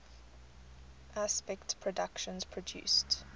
aspect productions produced